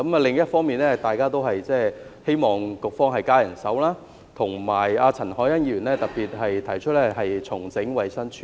另一方面，大家都希望局方增加人手，而陳凱欣議員特別提出，重整衞生署。